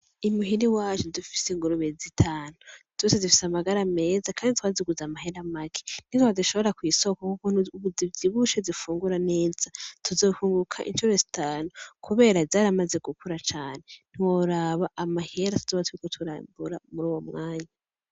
Imuhira iwacu dufise ingurube zitanu zose zifise amagara meza kandi twaziguze amahera make . Nitwazishora kw’isoko ukuntu ubu zivyibushe zifungura neza tuzokwunguka incuro zitanu kubera zaramaze gukura cane ntiworaba amahera zizoba ziriko ziragura muruwo mwanya.